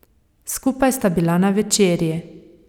Skupaj sta bila na večerji.